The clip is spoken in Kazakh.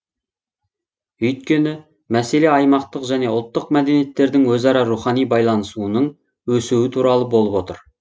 өйткені мәселе аймақтық және ұлттық мәдениеттердің өзара рухани байланысуының өсуі туралы болып отыр